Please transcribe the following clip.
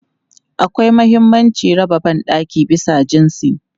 Akwai mahimmancin raba ban ɗaki bisa jinsi.